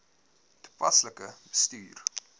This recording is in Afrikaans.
toepaslik bestuur